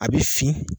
A bɛ fin